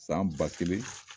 San ba kelen